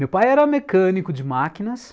Meu pai era mecânico de máquinas,